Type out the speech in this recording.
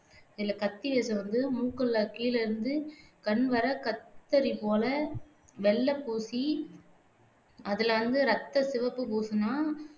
இதுல கத்தி வேசம் வந்து மூக்குல கீழிருந்து கண்வரை கத்தரி போல வெள்ளை பூசி அதுல வந்து ரத்தச் சிவப்புப் பூசுனா